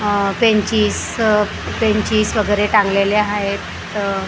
अह बेंचीस अह बेंचीस वगैरे टांगलेले आहेत अ --